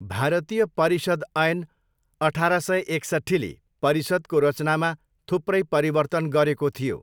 भारतीय परिषद ऐन अठार सय एकसट्ठीले परिषदको रचनामा थुप्रै परिवर्तन गरेको थियो।